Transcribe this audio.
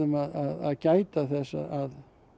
að gæta þess að